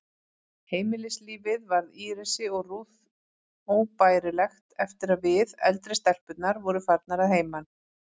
Heimilislífið varð Írisi og Ruth óbærilegt eftir að við, eldri stelpurnar, vorum farnar að heiman.